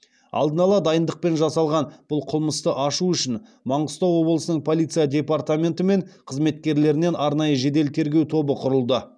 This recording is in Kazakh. алдын ала дайындықпен жасалған бұл қылмысты ашу үшін маңғыстау облысының полиция департаменті мен қызметкерлерінен арнайы жедел тергеу тобы құрылды